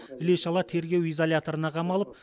іле шала тергеу изоляторына қамалып